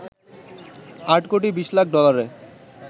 ৮ কোটি ২০ লাখ ডলারে